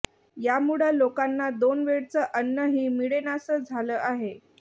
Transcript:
यामुळं लोकांना दोन वेळचं अन्नही मिळेनासं झालं आहे